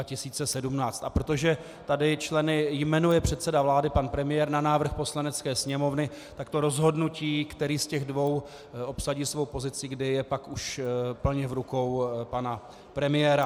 A protože tady členy jmenuje předseda vlády, pan premiér, na návrh Poslanecké sněmovny, tak to rozhodnutí, který z těch dvou obsadí svou pozici, kde je pak už plně v rukou pana premiéra.